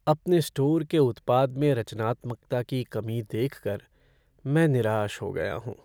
अपने स्टोर के उत्पाद में रचनात्मकता की कमी देख कर मैं निराश हो गया हूँ।